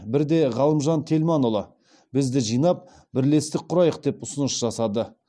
бірде ғалымжан тельманұлы бізді жинап бірлестік құрайық деп ұсыныс жасады